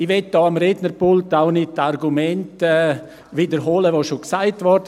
Ich möchte hier am Rednerpult auch nicht die Argumente wiederholen, welche bereits genannt wurden.